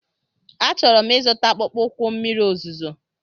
Achọrọ m ịzụta akpụkpọ ụkwụ mmiri ozuzo.